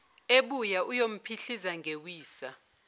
ebuya uyomphihliza ngewisa